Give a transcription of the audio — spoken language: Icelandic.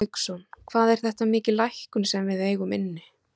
Hafsteinn Hauksson: Hvað er þetta mikil lækkun sem við eigum inni?